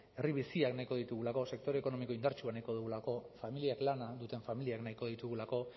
herri biziak nahiko ditugulako sektore ekonomiko indartsuak nahiko dugulako familiak lana duten familiak nahiko ditugulako